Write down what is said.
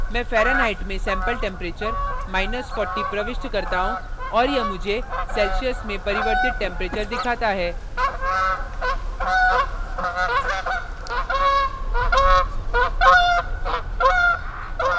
मैं fahrenheit में sample टैम्परेचर40 प्रविष्ट करता हूँ और यह मुझे celsius में परिवर्तित टैम्परेचर दिखाता है